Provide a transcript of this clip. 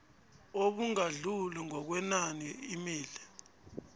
obungadluli ngokwenani imali